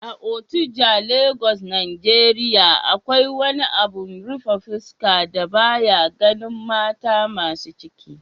a Ojota Lagos Nigeria, akwai wani abin rufe fuska da ba ya ganin mata masu ciki